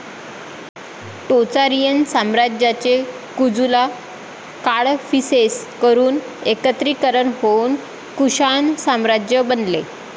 Tocharian साम्राज्याचे कुजूला काडफीसेस कडून एकत्रीकरण होऊन कुषाण साम्राज्य बनले.